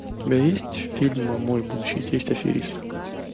у тебя есть фильм мой будущий тесть аферист